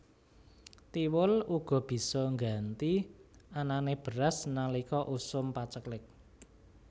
Thiwul uga bisa ngganti anané beras nalika usum paceklik